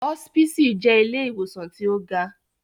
Hospisi jẹ ìlé-iwosan ti o ga